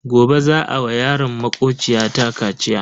Gobe za a wa yaron makociya ta kaciya.